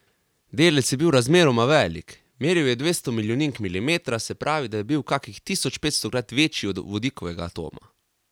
Delec je bil razmeroma velik, meril je dvesto milijonink milimetra, se pravi, da je bil kakih tisočpetstokrat večji od vodikovega atoma.